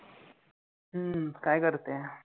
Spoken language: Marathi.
हं काय करते?